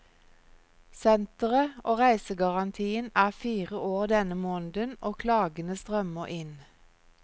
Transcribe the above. Senteret og reisegarantien er fire år denne måneden, og klagene strømmer inn.